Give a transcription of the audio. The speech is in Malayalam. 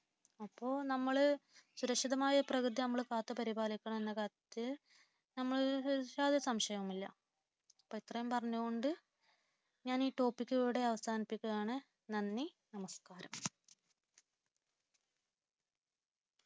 അപ്പോൾ നമ്മൾ സുരക്ഷിതമായൊരു പ്രകൃതി നമ്മൾ കാത്തു പരിപാലിക്കണമെന്ന കാര്യത്തിൽ യാതൊരു സംശയവുമില്ല അപ്പോൾ ഇത്രയും പറഞ്ഞു കൊണ്ട് ഞാനീ ടോപ്പിക്ക് ഇവിടെ അവസാനിപ്പിക്കുകയാണ് നന്ദി